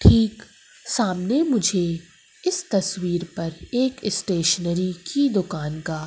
ठीक सामने मुझे इस तस्वीर पर एक स्टेशनरी की दुकान का--